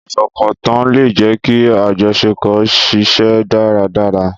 Ìfọkàntàn lè jẹ́ kí àjọṣepọ̀ ṣiṣẹ́ dáradára